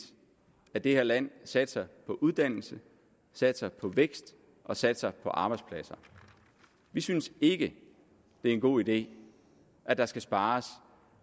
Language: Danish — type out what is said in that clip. at det her land satser på uddannelse satser på vækst og satser på arbejdspladser vi synes ikke at det en god idé at der skal spares